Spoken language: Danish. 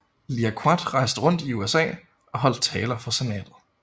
Liaquat rejste rundt i USA og holdt taler for Senatet